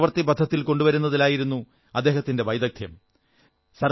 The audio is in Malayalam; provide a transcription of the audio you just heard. ചിന്തകളെ പ്രവൃത്തി പഥത്തിൽ കൊണ്ടുവരുന്നതിലായിരുന്നു അദ്ദേഹത്തിന്റെ വൈദഗ്ധ്യം